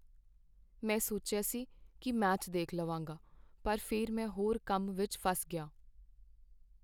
ਮੈਂ ਸੋਚਿਆ ਸੀ ਕੀ ਮੈਚ ਦੇਖ ਲਵਾਂਗਾ ਪਰ ਫਿਰ ਮੈਂ ਹੋਰ ਕੰਮ ਵਿਚ ਫਸ ਗਿਆ।